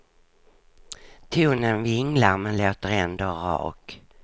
Tonen vinglar men låter ändå rak.